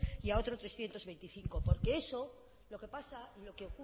y a otro trescientos veinticinco porque eso lo que pasa y lo que